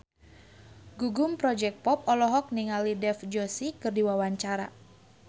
Gugum Project Pop olohok ningali Dev Joshi keur diwawancara